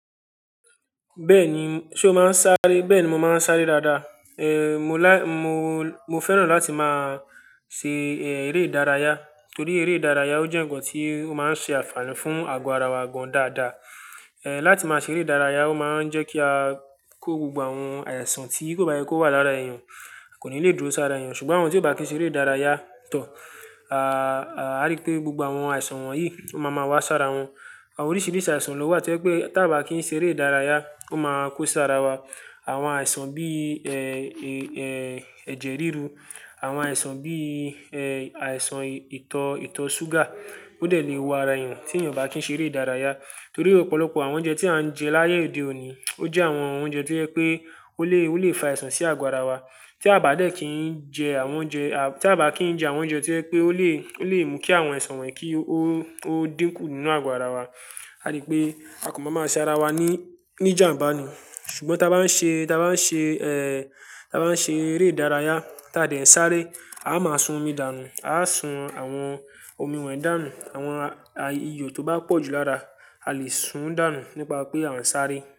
Bẹ́ẹ̀ni, ṣe o máa ń sáré? Bẹ́ẹ̀ni, mo máa ń sáré dáadáa. Eh, mo lá-- mo, mo fẹ́ràn láti máa ṣe, eh, eré ìdárayá torí eré ìdárayá ó jẹ́ ǹkan tí ó máa ń ṣe àfààní fún àgọ́ ara wa gan dáadáa. Eh, láti máa ṣe eré ìdárayá ó máa ń jẹ́ kí a kó gbogbo àwọn àìsàn tí kò bá yẹ kó wà lára èèyàn kò ní le dúró sára èèyàn, ṣùgbọ́n àwọn tí kò bá kí ń ṣe eré ìdárayá tọ́, a, a rí pé gbogbo àwọn àìsàn wọ̀nyí ó máa ma wá sára wọn. Àwọn oríṣìíríṣìí àìsàn ló wà tí o jẹ pé tí a ò bá kí ń ṣe eré ìdárayá ó máa kó sára wa. Àwọn àìsàn bí, ẹ, èé, ẹ, ẹ̀jẹ̀ ríru, àwọn àìsàn bí, ẹ, àìsàn ìtọ, ìtọ súgà ó de lè wo ara èèyàn tí èèyàn ò bá kí ń ṣe eré ìdárayá. Torí ọ̀pọ̀lọpọ̀ àwọn oúnjẹ tí à ń jẹ láyé òde òní ó jẹ́ àwọn oúnjẹ tí o je pé ó lè, ó lè fa àìsàn sí àgọ́ ara wa. Tí a bá dẹ́ẹ̀ kì í jẹ àwọn oúnjẹ, a-- tí a bá kí ń jẹ àwọn oúnjẹ tí jẹ pé ó lè, ó lè mú kí àwọn àìsàn wọ̀nyí kí ó, ó dínkù nínú àgọ́ ara wa, a rí pé a kan máa ma ṣe ara wa ní, ní jàǹbá ni. Ṣùgbọ́n tí a bá ń ṣe, tí a bá ń ṣe, ẹ, ta bá ń ṣe eré ìdárayá tí a dẹ̀ sáré, a máa sun omi dànù, a á sun àwọn omi wọ̀nyí dànù, àwọn a-- iyọ tó bá pọ̀ jù lára a lè sun dànù nípa pé à ń sáré.